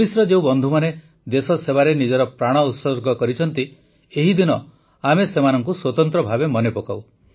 ପୁଲିସର ଯେଉଁ ବନ୍ଧୁମାନେ ଦେଶସେବାରେ ନିଜର ପ୍ରାଣ ଉତ୍ସର୍ଗ କରିଛନ୍ତି ଏହି ଦିନ ଆମେ ସେମାନଙ୍କୁ ସ୍ୱତନ୍ତ୍ର ଭାବେ ମନେ ପକାଉ